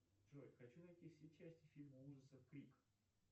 джой хочу найти все части фильма ужасов крик